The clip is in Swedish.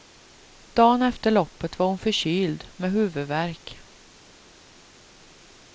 Dan efter loppet var hon förkyld, med huvudvärk.